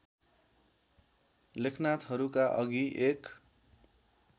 लेखनाथहरूका अघि एक